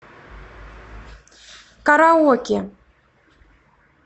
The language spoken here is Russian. караоке